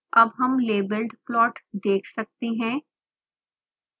अब हम labelled plot देख सकते हैं